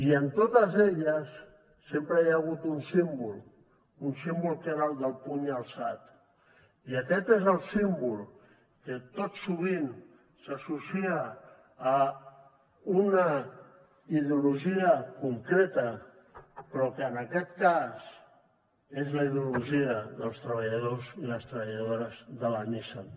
i en totes elles sempre hi ha hagut un símbol que era el del puny alçat i aquest és el símbol que tot sovint s’associa a una ideologia concreta però que en aquest cas és la ideologia dels treballadors i les treballadores de la nissan